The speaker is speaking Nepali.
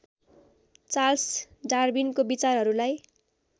चार्ल्स डार्विनको विचारहरूलाई